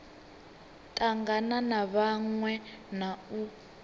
tangana na vhaṅwe na u